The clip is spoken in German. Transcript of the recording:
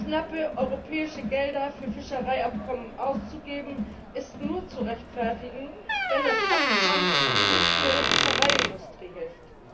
Knappe europäische Gelder für Fischereiabkommen auszugeben, ist nur zu rechtfertigen, wenn das Abkommen nicht nur der Fischereiindustrie hilft.